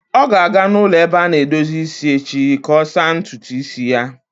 Ọ ga-aga n'ụlọ ebe a na-edozi isi echi ka ọ saa ntutu isi ya.